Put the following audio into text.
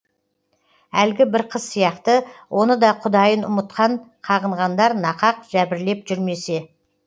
әлгі бір қыз сияқты оны да құдайын ұмытқан қағынғандар нақақ жәбірлеп жүрмесе